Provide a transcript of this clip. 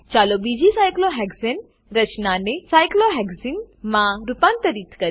ચાલો બીજી સાયક્લોહેક્સાને સાયક્લોહેક્ઝેન રચનાને સાયક્લોહેક્સને સાયક્લોહેક્ઝીન માં રૂપાંતરિત કરીએ